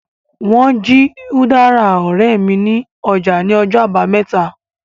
Wọ́n jí udara ọ̀rẹ́ mi ní ọjà ní ọjọ́ àbámẹ́ta